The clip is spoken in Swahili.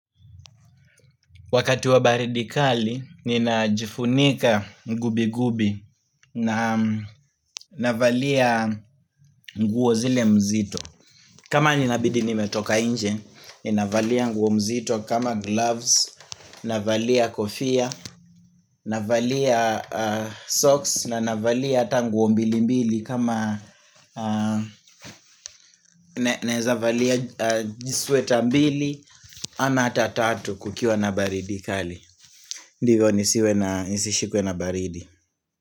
Wakati wa baridi kali, ninajifunika gubigubi na navalia nguo zile mzito. Kama ninabidi nimetoka inje, ninavalia nguo mzito kama gloves, navalia kofia, navalia socks na navalia hata nguo mbili mbili kama nawezavalia sweta mbili ama ata tatu kukiwa na baridikali. Ndivyo nisiwe na nisishikwe na baridi.